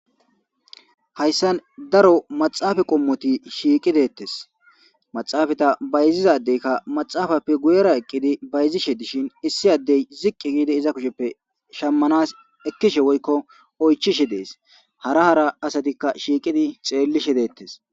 Hayssan daro maxaafa qommoti shiiqideettes maxaafata bayzizadeykka maxaafappe guyera eqqidi bayzishe dishin issi addey ziqqi giidi iza kusheppe shammanas ekkishe woykko oychishe dees hara hara asatikka shiiqidi xeellishe deettes.